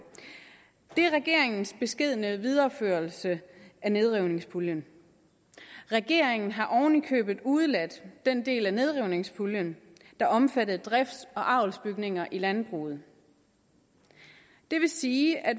det er regeringens beskedne videreførelse af nedrivningspuljen regeringen har ovenikøbet udeladt den del af nedrivningspuljen der omfattede drifts og avlsbygninger i landbruget det vil sige at